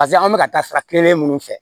Paseke an bɛ ka taa sira kelen minnu fɛ